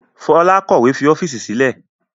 Fola kọ̀wé fi ọ́fíìsì sílẹ̀